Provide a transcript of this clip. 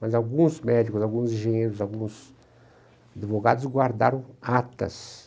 Mas alguns médicos, alguns engenheiros, alguns advogados guardaram atas.